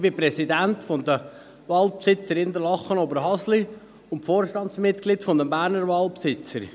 Ich bin Präsident der Waldbesitzer Interlaken-Oberhasli und Vorstandsmitglied der Berner Waldbesitzer.